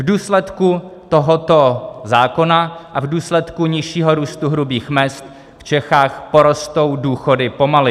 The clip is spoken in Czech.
V důsledku tohoto zákona a v důsledku nižšího růstu hrubých mezd v Čechách porostou důchody pomaleji.